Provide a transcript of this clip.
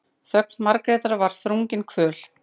Þögn Margrétar var þrungin kvöl.